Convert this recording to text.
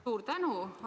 Suur tänu!